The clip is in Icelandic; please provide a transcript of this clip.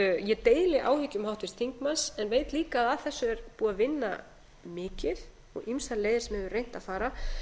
ég deili áhyggjum háttvirts þingmanns en veit líka að að þessu er búið að vinna mikið og ýmsar leiðir sem hefur verið reynt að fara